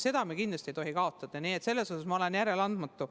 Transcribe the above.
Seda me kindlasti ei tohi kaotada, selles osas olen ma järeleandmatu.